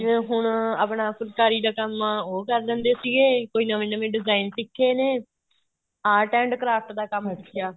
ਚ ਹੁਣ ਆਪਣਾ ਫੁਲਕਾਰੀ ਦਾ ਕੰਮ ਉਹ ਕਰ ਜਾਂਦੇ ਸੀਗੇ ਕੋਈ ਨਵੇਂ ਨਵੇਂ design ਸਿੱਖ਼ੇ ਨੇ art and craft ਦਾ ਕੰਮ ਸਿੱਖਿਆ